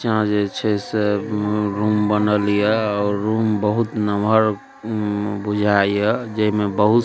यहाँ जे छे सब रूम बनल हिय और रूम बहुत लमहर उम बुझा हिय जे में बहुत स --